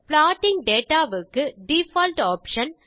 plotting data வுக்கு default option